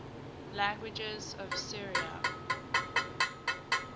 languages of syria